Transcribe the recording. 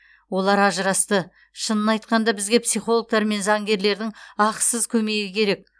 олар ажырасты шынын айтқанда бізге психологтар мен заңгерлердің ақысыз көмегі керек